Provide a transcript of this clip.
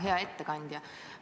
Hea ettekandja!